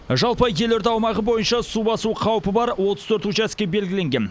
жалпы елорда аумағы бойынша су басу қаупі бар отыз төрт учаске белгіленген